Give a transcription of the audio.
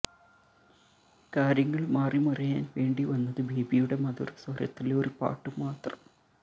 കാര്യങ്ങൾ മാറിമറിയാൻ വേണ്ടി വന്നത് ബേബിയുടെ മധുര സ്വരത്തിലൊരു പാട്ടു മാത്രം